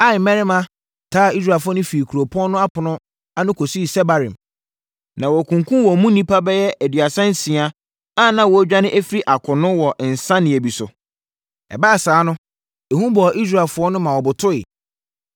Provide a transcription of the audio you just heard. taa Israelfoɔ no firi kuropɔn no ɛpono ano kɔsii Sebarim, na wɔkunkumm wɔn mu nnipa bɛyɛ aduasa nsia a na wɔredwane afiri akono wɔ nsianeeɛ bi so. Ɛbaa saa no, ehu bɔɔ Israelfoɔ no ma wɔbotoeɛ.